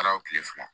Taara o tile fila